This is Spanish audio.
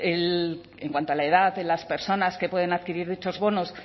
en cuanto a la edad de las personas que pueden adquirir dichos bonos